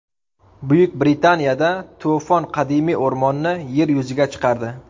Buyuk Britaniyada to‘fon qadimiy o‘rmonni yer yuziga chiqardi .